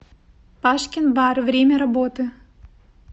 пашкин бар время работы